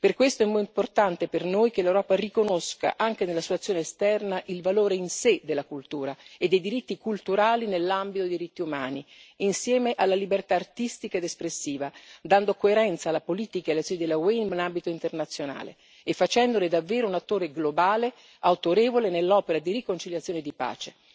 Per questo è importante per noi che l'Europa riconosca, anche nella sua azione esterna, il valore in sé della cultura e dei diritti culturali nell'ambito dei diritti umani, insieme alla libertà artistica ed espressiva, dando coerenza alla politica e alle azioni dell'UE in ambito internazionale, e facendone davvero un attore globale, autorevole, nell'opera di riconciliazione e di pace.